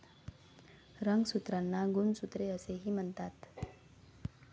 रंगसूत्रांना गुणसूत्रे असेही म्हणतात.